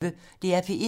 DR P1